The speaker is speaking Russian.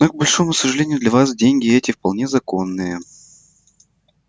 но к большому сожалению для вас деньги эти вполне законные